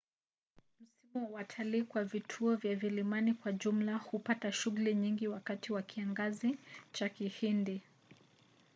msimu wa watalii kwa vituo vya vilimani kwa jumla hupata shughuli nyingi wakati wa kiangazi cha kihindi